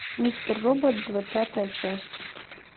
мистер робот двадцатая часть